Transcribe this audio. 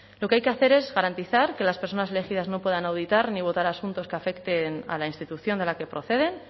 lo que hay que hacer es garantizar que las personas elegidas no puedan auditar ni votar asuntos que afecten a la institución de la que proceden